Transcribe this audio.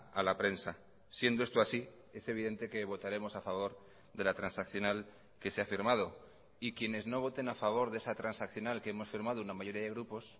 a la prensa siendo esto así es evidente que votaremos a favor de la transaccional que se ha firmado y quienes no voten a favor de esa transaccional que hemos firmado una mayoría de grupos